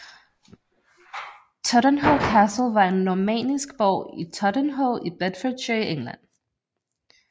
Totternhoe Castle var en normannisk borg i Totternhoe i Bedfordshire i England